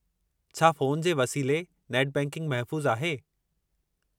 छा फ़ोन जे वसीले नेट बैंकिंग महफ़ूज़ु आहे?